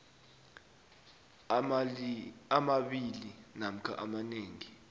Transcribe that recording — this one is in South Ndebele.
amabili namkha amanengi